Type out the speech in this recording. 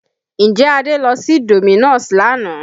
Ǹjẹ́ Adé lọ sí Domino's lánàá?